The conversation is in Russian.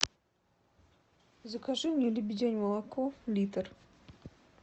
закажи мне лебедянь молоко литр